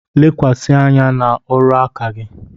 Lekwasị anya n'ọrụ aka gị